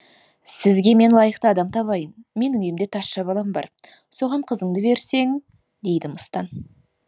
сізге мен лайықты адам табайын менің үйімде тазша балам бар соған қызыңды берсең дейді мыстан